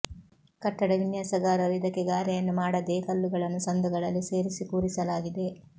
ಕಟ್ಟಡ ವಿನ್ಯಾಸಗಾರರು ಇದಕ್ಕೆ ಗಾರೆಯನ್ನು ಮಾಡದೇ ಕಲ್ಲುಗಳನ್ನು ಸಂದುಗಳಲ್ಲಿ ಸೇರಿಸಿ ಕೂರಿಸಲಾಗಿದೆ